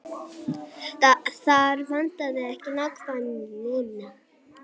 Þar vantaði ekki nákvæmnina.